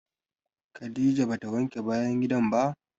Khadijah ba ta wanke bayan gidan ba.